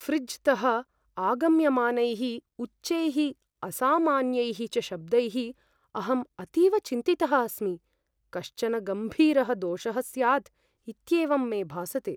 ऴ्रिज् तः आगम्यमानैः उच्चैः असामान्यैः च शब्दैः अहम् अतीव चिन्तितः अस्मि, कश्चन गम्भीरः दोषः स्यात् इत्येवं मे भासते।